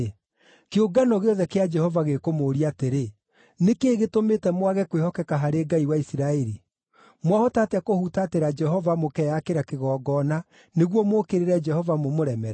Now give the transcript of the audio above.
“Kĩũngano gĩothe kĩa Jehova gĩkũmũũria atĩrĩ, ‘Nĩ kĩĩ gĩtũmĩte mwage kwĩhokeka harĩ Ngai wa Isiraeli? Mwahota atĩa kũhutatĩra Jehova mũkeyakĩra kĩgongona nĩguo mũũkĩrĩre Jehova mũmũremere?